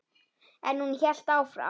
En hún hélt áfram.